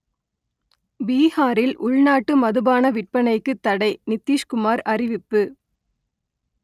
பீகாரில் உள்நாட்டு மதுபான விற்பனைக்கு தடை நித்திஷ்குமார் அறிவிப்பு